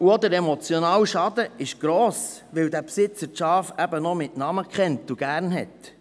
Der emotionale Schaden ist gross, weil dieser Besitzer seine Schafe eben noch mit Namen kennt und sie gerne hat.